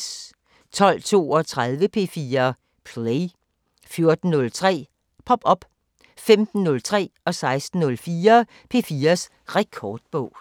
12:32: P4 Play 14:03: Pop op 15:03: P4's Rekordbog 16:04: P4's Rekordbog